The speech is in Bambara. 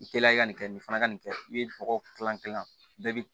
I teliya i ka nin kɛ nin fana ka nin kɛ i ye nɔgɔ kilan bɛɛ bɛ